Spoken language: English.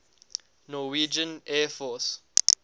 norwegian air force